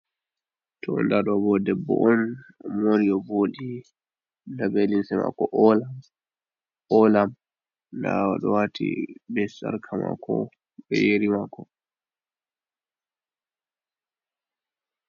To nda ɗobo debbo on mori o voɗi, nda ɓe limsi mako olam, olam, nda oɗowati be sarka mako be yeri mako.